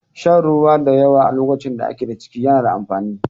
Shan ruwa da yawa a lokacin da ake da ciki na da amfani.